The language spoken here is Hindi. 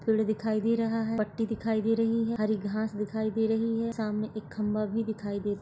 पेड़ दिखाई दे रहा है पट्टी दिखाई दे रही है हरी घास दिखाई दे रही है सामने एक खंबा भी दिखाई दे--